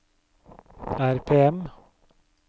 RPM